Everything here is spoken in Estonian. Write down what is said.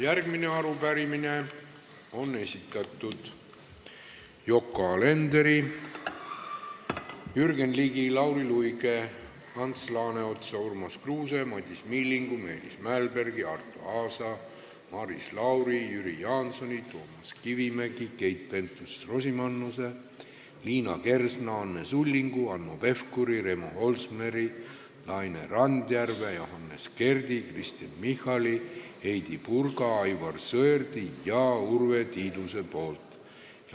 Järgmise arupärimise on esitanud Yoko Alender, Jürgen Ligi, Lauri Luik, Ants Laaneots, Urmas Kruuse, Madis Milling, Meelis Mälberg, Arto Aas, Maris Lauri, Jüri Jaanson, Toomas Kivimägi, Keit Pentus-Rosimannus, Liina Kersna, Anne Sulling, Hanno Pevkur, Remo Holsmer, Laine Randjärv, Johannes Kert, Kristen Michal, Heidy Purga, Aivar Sõerd ja Urve Tiidus.